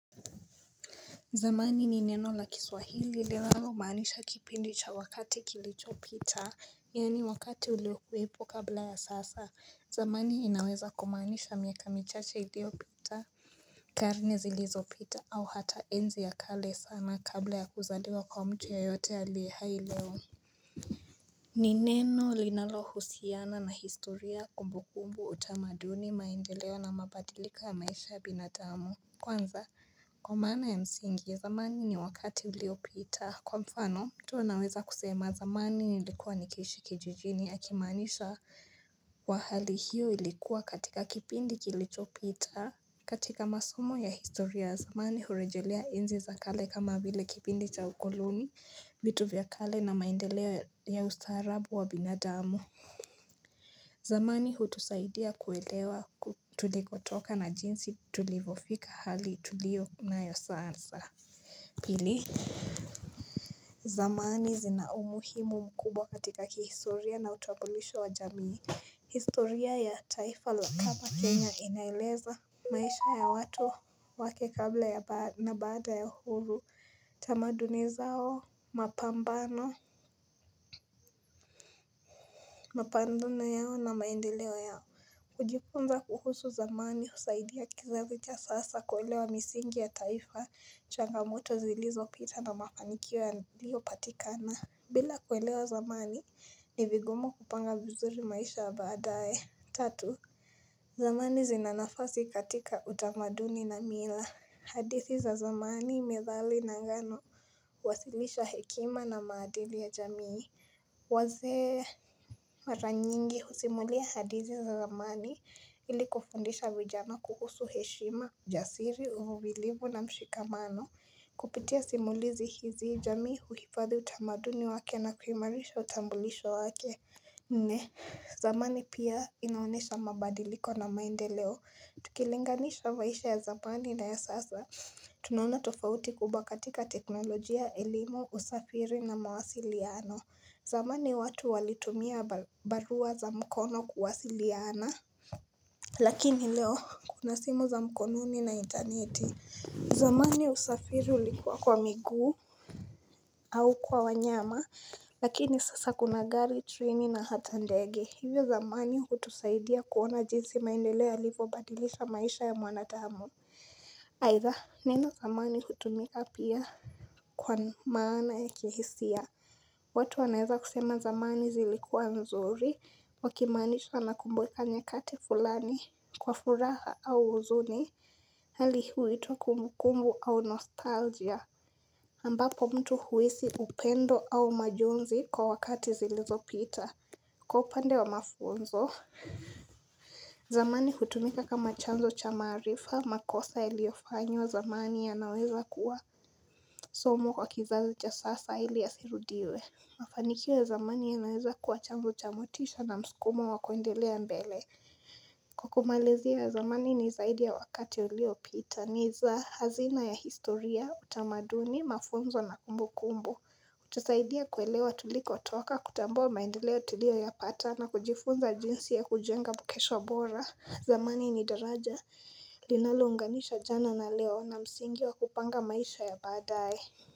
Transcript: Zamani ni neno la kiswahili lilao maanisha kipindi cha wakati kilicho pita, yani wakati uleo kuwepo kabla ya sasa, zamani inaweza kumanisha miaka michache ilio pita karne zilizo pita au hata enzi ya kale sana kabla ya kuzaliwa kwa mtu ya yote ya lehaileo. Ni neno linalo husiana na historia kumbu kumbu utamaduni maendeleo na mabadilika ya maisha ya binadamu. Kwanza kwa mana ya msingi zamani ni wakati ilio pita Kwa mfano tu naweza kusema zamani ilikuwa nikishi kijijini ya kimanisha wa hali hiyo ilikuwa katika kipindi kilicho pita katika masumo ya historia zamani hurejelea enzi za kale kama vile kipindi cha ukoloni vitu vya kale na maindeleo ya ustaarabu wa binadamu zamani hutusaidia kuelewa tulikotoka na jinsi tulivofika hali tulio na yosaansa Pili zamani zinaumuhimu mkubwa katika kihistoria na utamulisho wa jamii historia ya taifa la kama Kenya inaeleza maisha ya watu wake kabla na baada ya huru tamaduni zao mapambano Mapambano yao na maendeleo yao kujifunza kuhusu zamani husaidia kizazi cha sasa kuwelewa misingi ya taifa changamoto zilizo pita na mafanikio ya lio patikana bila kuwelewa zamani ni viguma kupanga buzuri maisha abadae Tatu zamani zinanafasi katika utamaduni na mila hadithi za zamani imedhali na ngano kuwasilisha hekima na maadili ya jamii Waze maranyingi kusimulia hadithi za zamani ili kufundisha vijana kuhusu heshima ujasiri, uvumilivu na mshikamano kupitia simulizi hizi jami huhifadhi utamaduni wake na kuhimarisha utambulisho wake Nne, zamani pia inaonesha mabadiliko na maendeleo, tukilinganisha maisha ya zamani na ya sasa tunaona tofauti kubwa katika teknolojia, elimu, usafiri na mawasili ya ano zamani watu walitumia barua za mkono kuwasiliana Lakini leo kuna simu za mkononi na internet zamani usafiri ulikuwa kwa miguu au kwa wanyama Lakini sasa kuna gari treni na hata ndege Hivyo zamani hutusaidia kuona jinsi maindeleo yalivyo badilisha maisha ya mwanadamu Aidha nina zamani hutumia pia kwa maana ya kihisia watu anaeza kusema zamani zilikuwa nzuri, wakimanisha nakumbuka nyekati fulani, kwa furaha au uzuni, hali huwitwa kumukumbu au nostalgia. Ambapo mtu huwisi upendo au majonzi kwa wakati zilizo pita, kwa upande wa mafunzo. Zamani kutumika kama chanzo cha marifa, makosa iliofanywa zamani ya naweza kuwa somo kwa kizazi cha sasa ili asirudiwe. Mafanikio zamani ya naweza kua chanzo cha motisha na msukumo wakoendelea mbele Kwa kumalizi ya zamani ni zaidi ya wakati ulio pita ni za hazina ya historia utamaduni mafunzo na kumbu kumbu Kutasaidia kuelewa tuliko toka kutambua maendeleo tulio ya pata na kujifunza jinsi ya kujenga bukesho bora zamani ni daraja linalounganisha jana na leo na msingi wa kupanga maisha ya badae.